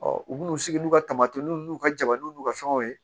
u n'u sigi n'u ka tamatenin n'u ka jabaranin n'u ka fɛnw ye